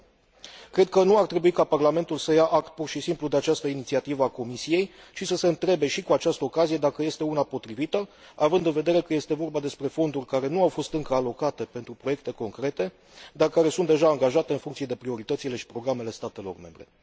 9. Cred că nu ar trebui ca Parlamentul să ia act pur și simplu de această inițiativă a Comisiei, ci să se întrebe și cu această ocazie dacă este una potrivită, având în vedere că este vorba despre fonduri care nu au fost încă alocate pentru proiecte concrete, dar care sunt deja angajate în funcție de prioritățile și programele statelor membre.